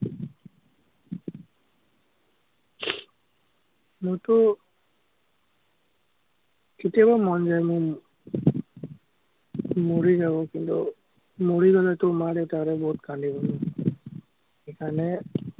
মোৰতো কেতিয়াবা মন যায়, মই মৰি যাব, কিন্তু, মৰি গলেতো মা-দেউতাহঁতে বহুত কান্দিব ন, সেইকাৰণে